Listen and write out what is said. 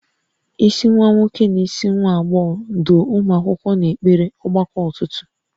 Isi nwa nwoke na isi nwa agbọghọ, duo ụmụ akwụkwọ n'ekpere ọgbakọ ụtụtụ